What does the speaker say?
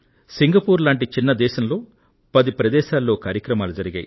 Singapore లాంటి చిన్న ప్రదేశంలో పది ప్రదేశాల్లో కార్యక్రమాలు జరిగాయి